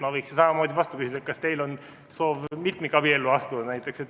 Ma võiksin samamoodi vastu küsida, kas teil on näiteks soov mitmikabiellu astuda.